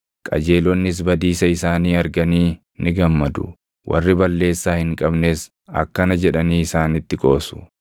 Qajeelonnis badiisa isaanii arganii ni gammadu; warri balleessaa hin qabnes akkana jedhanii isaanitti qoosu;